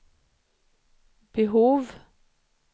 behov